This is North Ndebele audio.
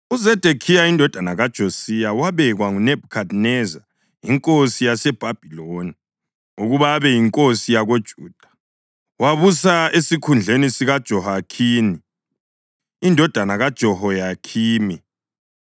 UZedekhiya indodana kaJosiya wabekwa nguNebhukhadineza inkosi yaseBhabhiloni ukuba abe yinkosi yakoJuda; wabusa esikhundleni sikaJehoyakhini indodana kaJehoyakhimi.